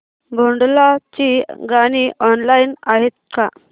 भोंडला ची गाणी ऑनलाइन आहेत का